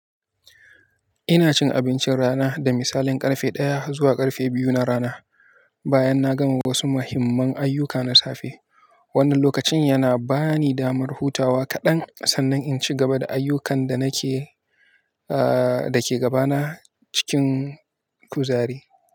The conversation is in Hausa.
Ina cin abincin rana da misalin ƙarfe ɗaya zuwa ƙarfe biyu na rana, bayan na gama wasu muhimman ayyuka na safe. Wannan lokacin yana ba ni damar hutawa kaɗan sannan in ci gaba da ayyukan da ke gabana cikin kuzari.